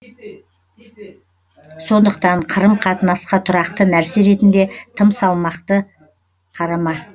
сондықтан қырым қатынасқа тұрақты нәрсе ретінде тым салмақты қарама